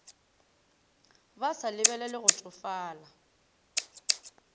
ba sa lebelele go tšofala